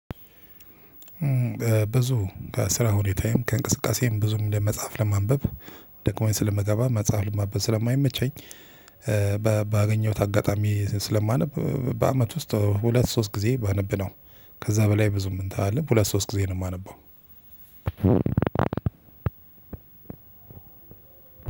ብዙ ከስራ ሁኔታዬም ከእንቅስቃሴም ብዙም ለመጽሐፍ ለማንበብ ደክሞኝ ስለመገባብ መጽሐፍ ስለማይመቸኝ። ባገኘሁት አጋጣሚ ስለማነብ በአመት ውስጥ ሁለት ሶስት ጊዜ ባነብነው። ከዛ በላይ ብዙም እንትን አልልም ሁለት ሶስት ጊዜ ነው እማነበው።